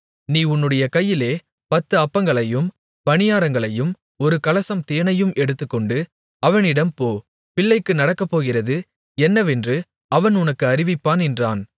நீ உன்னுடைய கையிலே பத்து அப்பங்களையும் பணியாரங்களையும் ஒரு கலசம் தேனையும் எடுத்துக்கொண்டு அவனிடம் போ பிள்ளைக்கு நடக்கப்போகிறது என்னவென்று அவன் உனக்கு அறிவிப்பான் என்றான்